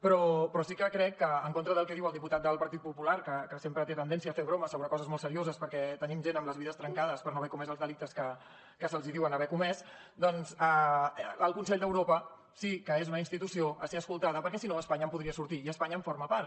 però sí que crec que en contra del que diu el diputat del partit popular que sempre té tendència a fer broma sobre coses molt serioses perquè tenim gent amb les vides trencades per no haver comès els delictes que se’ls diuen haver comès doncs el consell d’europa sí que és una institució a ser escoltada perquè si no espanya en podria sortir i espanya en forma part